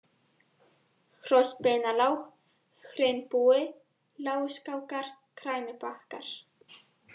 Hrossbeinalág, Hraunbúi, Láguskákar, Grænubakkar